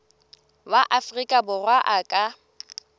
wa afrika borwa a ka